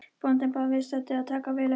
Bóndinn bað viðstadda að taka vel eftir.